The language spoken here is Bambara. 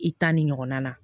I ta ni ɲɔgɔnna